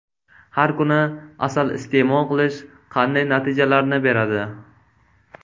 Har kuni asal iste’mol qilish qanday natijalarni beradi?